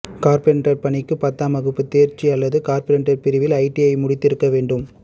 carpenter பணிக்கு பத்தாம் வகுப்பு தேர்ச்சி அல்லது கார்பெண்டர் பிரிவில் ஐடிஐ முடித்திருக்க வேண்டும்